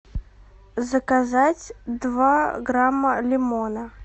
заказать два грамма лимона